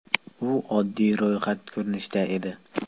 U oddiy ro‘yxat ko‘rinishida edi.